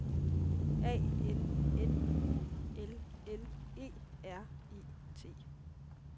A N N U L L E R E T